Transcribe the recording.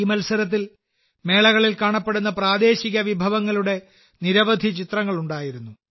ഈ മത്സരത്തിൽ മേളകളിൽ കാണപ്പെടുന്ന പ്രാദേശിക വിഭവങ്ങളുടെ നിരവധി ചിത്രങ്ങൾ ഉണ്ടായിരുന്നു